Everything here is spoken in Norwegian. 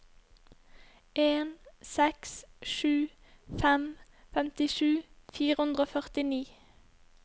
en seks sju fem femtisju fire hundre og førtini